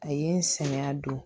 A ye n sɛgɛn a don